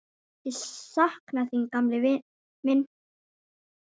Ég sakna þín, gamli minn.